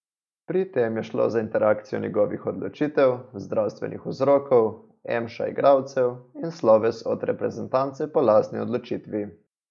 Pri tem je šlo za interakcijo njegovih odločitev, zdravstvenih vzrokov, emša igralcev in sloves od reprezentance po lastni odločitvi.